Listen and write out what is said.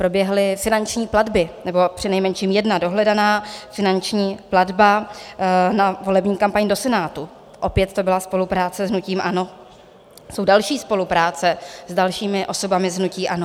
Proběhly finanční platby nebo přinejmenším jedna dohledaná finanční platba na volební kampaň do Senátu, opět to byla spolupráce s hnutím ANO, jsou další spolupráce s dalšími osobami z hnutí ANO.